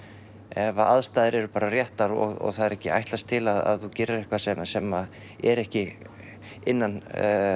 ef að aðstæður eru bara réttar og það er ekki ætlast til að þú gerir eitthvað sem sem er ekki innan